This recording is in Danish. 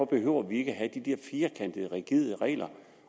behøver vi ikke at have de der firkantede rigide regler